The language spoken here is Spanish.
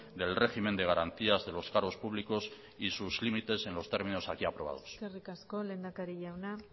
del régimen de garantías de los cargos públicos y sus límites en los términos aquí aprobados eskerrik asko lehendakari jauna